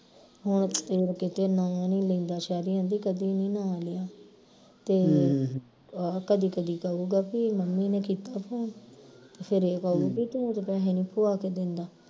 ਹੋਰ ਕਿਤੇ ਨਾਂ ਨੀ ਲੈਂਦਾ ਸ਼ੈਰੀ ਆਂਦੀ ਕਦੀ ਨੀ ਨਾਂ ਲਿਆ ਤੇ ਆਹ ਕਦੀ ਕਦੀ ਕਹੂੰਗਾ ਕੀ ਮੰਮੀ ਨੇ ਕੀਤਾ phone ਤੇ ਫਿਰ ਇਹ ਕਹੂੰ ਬਈ ਤੂੰ ਤੇ ਪੈਹੇ ਨੀ ਪੁਆ ਕੇ ਦਿੰਦਾ